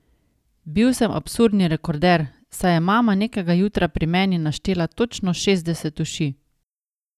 Bil sem absolutni rekorder, saj je mama nekega jutra pri meni naštela točno šestdeset uši.